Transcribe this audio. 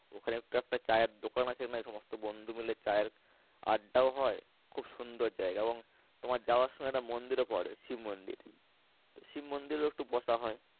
ওখানে একটা চায়ের দোকান আছে সমস্ত বন্ধু মিলে চায়ের আড্ডাও হয় খুব সুন্দর জায়গা এবং তোমার যাওয়ার সময় একটা মন্দিরও পরে শিব মন্দির তো শিব মন্দিরে একটু বসা হয়।